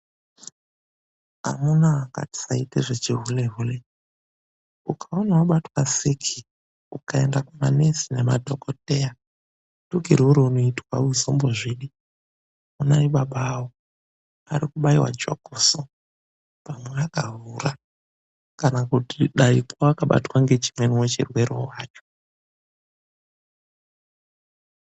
Amuna ngatisaite zvechihulehule. Ukaona wabatwa ngesiki, ukaenda kunaana madhokodheya nanamukoti, tukirwe raunoitwa hausombozvidi. Onai baba avo ari kubaiwa jokoso, pamwe akahura kana kuti dai vakabatwa ngechimwe chirwere hacho.